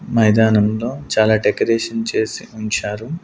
మైదానంలో చాలా డెకరేషన్ చేసి ఉంచారు.